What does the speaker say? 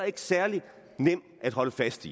ikke særlig nemt at holde fast